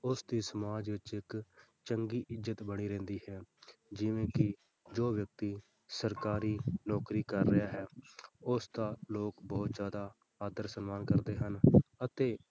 ਉਸਦੀ ਸਮਾਜ ਵਿੱਚ ਇੱਕ ਚੰਗੀ ਇੱਜ਼ਤ ਬਣੀ ਰਹਿੰਦੀ ਹੈ ਜਿਵੇਂ ਕਿ ਜੋ ਵਿਅਕਤੀ ਸਰਕਾਰੀ ਨੌਕਰੀ ਕਰ ਰਿਹਾ ਹੈ, ਉਸਦਾ ਲੋਕ ਬਹੁਤ ਜ਼ਿਆਦਾ ਆਦਰ ਸਨਮਾਨ ਕਰਦੇ ਹਨ ਅਤੇ